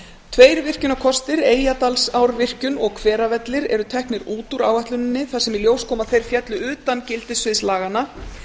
tveir virkjunarkostir eyjadalsárvirkjun og hveravellir eru teknir út úr áætluninni þar sem í ljós kom að þeir féllu utan gildissviðs laganna